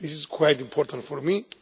This is quite important for me.